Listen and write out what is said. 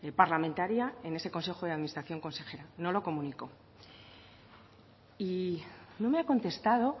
parlamentaria en ese consejo de administración consejero no lo comunicó y no me ha contestado